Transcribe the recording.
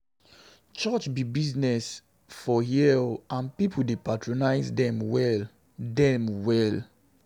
Church be business for here o and people dey patronize dem well dem well.